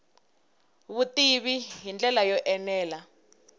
vutivi hi ndlela yo enela